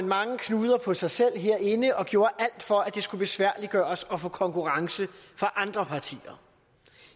mange knuder på sig selv herinde og gjort alt for at det skulle besværliggøres at få konkurrence fra andre partier